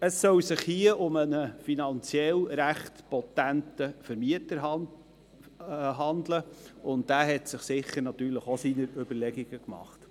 Es soll sich hier um einen finanziell recht potenten Mieter handeln, und dieser hat sich sicher auch seine Überlegungen gemacht.